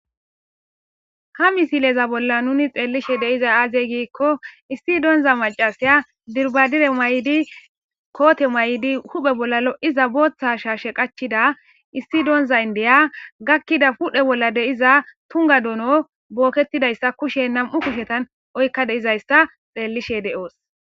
Ha misileza bolla nuni xeellishe deiza aazey giikko issi donza macasiya dirbadire maydi koote maydi huphe bolla lo7iza booththa shaashe qachida issi donza indeya gakkida pudhe bolla deiza tunga doono booketidayssa kushe nam7u kushetan oykka deizayssa xeellishe deo7os.